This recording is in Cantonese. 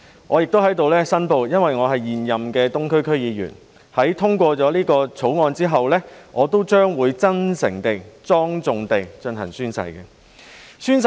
我亦在此申報，由於我是現任東區區議員，在通過《條例草案》後，我也會真誠地及莊重地進行宣誓。